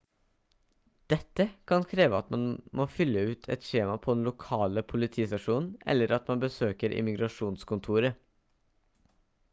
dette kan kreve at man må fylle ut et skjema på den lokale politistasjonen eller at man besøker immigrasjonskontoret